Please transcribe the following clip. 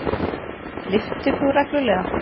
Lyftir þú reglulega?